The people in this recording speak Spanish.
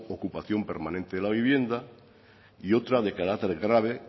ocupación permanente de la vivienda y otra de carácter grave